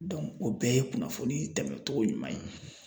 o bɛɛ ye kunnafoni tɛmɛ cogo ɲuman ye .